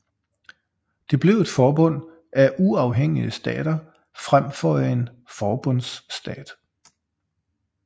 Det blev et forbund af uafhængige stater frem for en forbundsstat